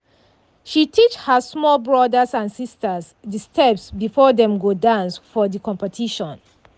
she teach her small brothers and sisters de steps before dem go dance for de competition.